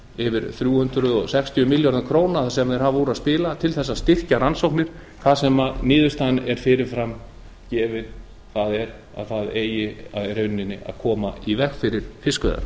yfir þrjú hundruð sextíu milljörðum króna sem beita hafa úr að spila til að styrkja rannsóknir þar sem niðurstaðan er fyrirframgefin það er að það eigi í raun að koma í veg fyrir fiskveiðar